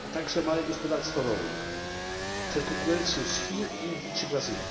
a także małe gospodarstwa rolne przed konkurencją z Chin, Indii czy Brazylii?